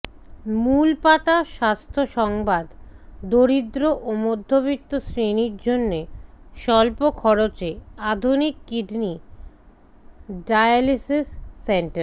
মূলপাতা স্বাস্থ্য সংবাদ দরিদ্র ও মধ্যবিত্ত শ্রেণির জন্যে স্বল্প খরচে আধুনিক কিডনি ডায়ালাইসিস সেন্টার